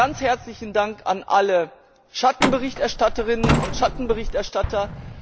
Nochmals ganz herzlichen Dank an alle Schattenberichterstatterinnen und Schattenberichterstatter!